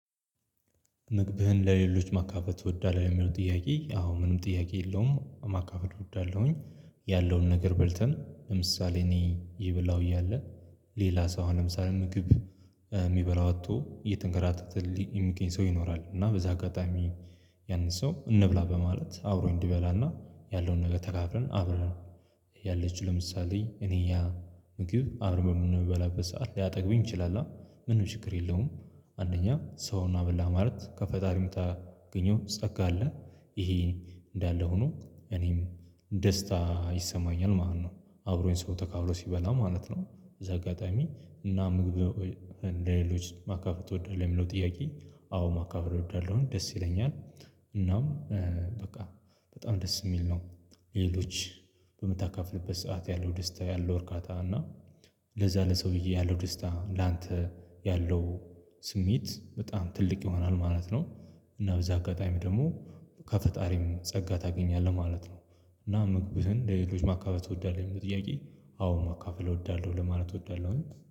ምግብህን ለሌሎች ማካፈል ትወዳለህ? የሚለው ጥያቄ አዎ ምንም ጥያቄ የለውም ማካፈል እወዳለሁኝ። ያለውን ነገር በልተን ለምሳሌ እኔ እየበላሁ እያለ ሌላ ሰው አሁን ለምሳሌ ምግብ የሚበላው አጥቶ እየተንከራተተ የሚገኝ ሰው ይኖራል። እና በዛ አጋጣሚ ያንን ሰው እንብላ በማለት አብሮኝ እንዲበላና ያለውን ነገር ተካፍለን አብረን። ያለችው ለምሳሌ እኔ ያ ምግብ በምንበላበት ሰዓት ሊያጠግብኝ ይችላል ምንም ችግር የለውም። አንደኛ ሰውን አበላህ ማለት ከፈጣሪ ምታገኘው ጸጋ አለ። ይሄ እንዳለ ሁኑ እኔም ደስታ ይሰማኛል ማለት ነው። አብሮኝ ሰው ተካፍሎ ሲበላ ማለት ነው። በዚህ አጋጣሚ እና ምግብ ለሌሎች ማካፍል ትወዳለህ የሚለው ጥያቄ? አዎ ማካፍል እወዳለሁኝ ደስ ይለኛል። እናም በቃ በጣም ደስ የሚል ነው። ለሌሎች በምታካፍልበት ሰዓት ያለው ደስታ ያለው እርካታ እና ለዛ ለሰውዬ ያለው ደስታ ላንተ ያለው ስሜት በጣም ትልቅ ይሆናል ማለት ነው። እና በዛ አጋጣሚ ደግሞ ከፈጣሪም ጸጋ ታገኛለህ ማለት ነው። እና ምግብህን ለሌሎች ማካፈል እወዳለሁ ለሚለው ጥያቄ? አዎ ማካፈል እወዳለሁ ለማለት እወዳለሁ